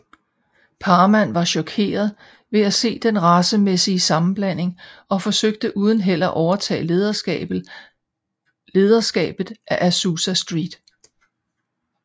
Parham var chokeret ved at se den racemæssige sammenblanding og forsøgte uden held at overtage lederskabet af Azusa Street